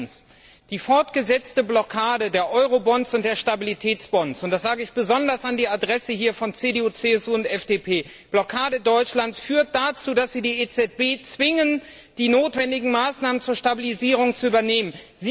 Erstens Die fortgesetzte Blockade der Eurobonds und der Stabilitätsbonds und das sage ich besonders an die Adresse von CDU CSU und FDP durch Deutschland, führt dazu, dass Sie die EZB zwingen, die notwendigen Maßnahmen zur Stabilisierung zu übernehmen.